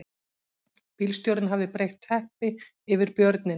Bílstjórinn hafði breitt teppi yfir björninn